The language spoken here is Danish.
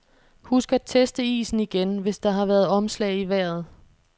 Husk at teste isen igen, hvis der har været omslag i vejret.